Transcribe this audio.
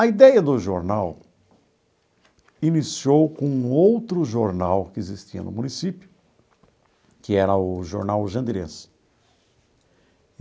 A ideia do jornal iniciou com um outro jornal que existia no município, que era o Jornal Jandirense.